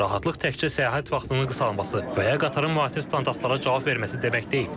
Rahatlıq təkcə səyahət vaxtının qısalması və ya qatarın müasir standartlara cavab verməsi demək deyil.